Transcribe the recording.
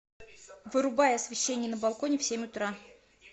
вырубай освещение на балконе в семь утра